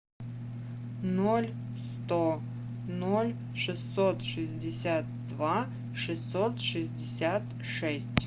ноль сто ноль шестьсот шестьдесят два шестьсот шестьдесят шесть